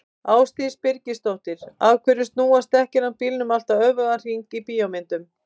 Ásdís Birgisdóttir: Af hverju snúast dekkin á bílum alltaf öfugan hring í bíómyndum?